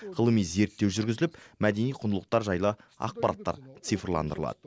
ғылыми зерттеу жүргізіліп мәдени құндылықтар жайлы ақпараттар цифрландырылады